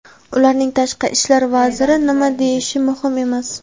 Ularning tashqi ishlar vaziri nima deyishi muhim emas.